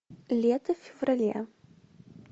лето в феврале